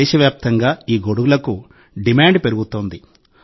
దేశవ్యాప్తంగా ఈ గొడుగులకు డిమాండ్ పెరుగుతోంది